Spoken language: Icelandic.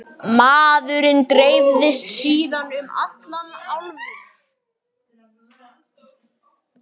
Maðurinn dreifðist síðan um allar álfur.